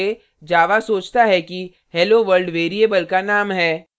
बिना quotes के java सोचता है कि helloworld variable का name है